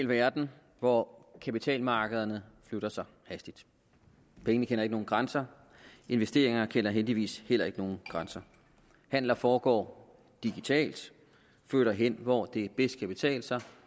verden hvor kapitalmarkederne flytter sig hastigt pengene kender ikke nogen grænser investeringer kender heldigvis heller ikke nogen grænser handler foregår digitalt flytter hen hvor det bedst kan betale sig